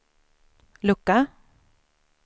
lucka